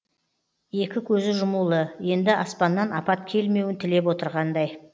екі көзі жұмулы енді аспаннан апат келмеуін тілеп отырғандай